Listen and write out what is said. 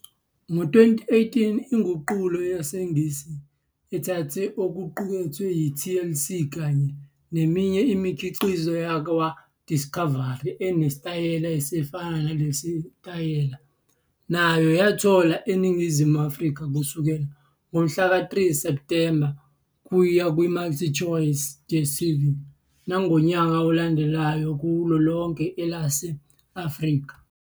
Ngo-2018, inguqulo yesiNgisi ethathe okuqukethwe yi-TLC kanye neminye imikhiqizo yakwaDiscovery enesitayela esifana nelesiTaliyane nayo yatholwa eNingizimu Afrika kusukela ngomhlaka 3 Septhemba kuya kwiMultChoice's DStv nangonyaka olandelayo kulo lonke elase-Afrika.